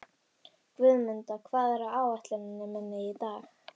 Guðmunda, hvað er á áætluninni minni í dag?